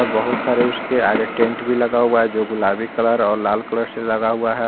बहुत सारे उसके आगे टेंट भी लगा हुआ है जो गुलाबी कलर और लाल कलर से रंगा हुआ है।